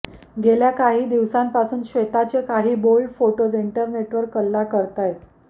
गेल्या काही दिवसांपासूव श्वेताचे काही बोल्ड फोटोज इंटरनेटवर कल्ला करतायत